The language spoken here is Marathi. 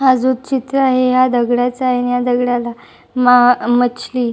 हा जो चित्र आहे या दगडाचा आहे आणि या दगडाला मा मचली--